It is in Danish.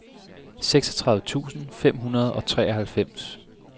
seksogtredive tusind fem hundrede og treoghalvfems